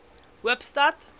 hoopstad